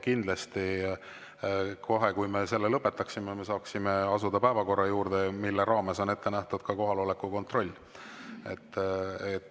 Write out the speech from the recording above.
Kindlasti kohe, kui me selle lõpetame, saame asuda päevakorra juurde, mille raames on ette nähtud ka kohaloleku kontroll.